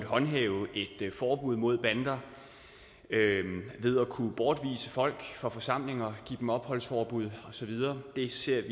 håndhæve et forbud mod bander ved at kunne bortvise folk fra forsamlinger give dem opholdsforbud og så videre det ser